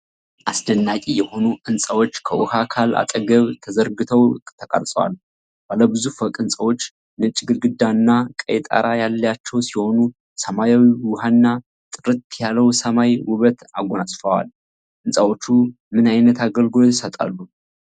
አስደናቂ የሆኑ ሕንፃዎች ከውኃ አካል አጠገብ ተዘርግተው ተቀርጿል። ባለብዙ ፎቅ ሕንፃዎች፣ ነጭ ግድግዳና ቀይ ጣራ ያላቸው ሲሆን፣ ሰማያዊው ውሃና ጥርት ያለው ሰማይ ውበት አጎናጽፈዋል። ሕንፃዎቹ ምን ዓይነት አገልግሎት ይሰጣሉ?